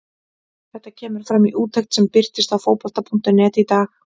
Þetta kemur fram í úttekt sem birtist á Fótbolta.net í dag.